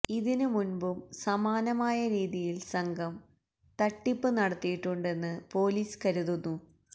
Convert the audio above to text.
ഇതിനു മുന്പും സമാനമായ രീതിയില് സംഘം തട്ടിപ്പ് നടത്തിയിട്ടുണ്ടെന്ന് പോലീസ് കരുതുന്നു